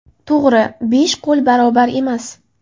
To‘g‘ri, besh qo‘l barobar emas.